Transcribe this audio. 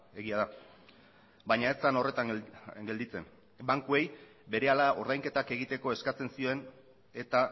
egia da baina ez zen horretan gelditzen bankuei berehala ordainketak egiteko eskatzen zien eta